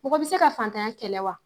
Mɔgɔ bi se ka fantanya kɛlɛ wa?